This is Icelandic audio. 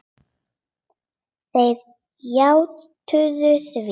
Þeir játuðu því.